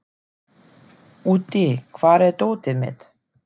Úddi, hvar er dótið mitt?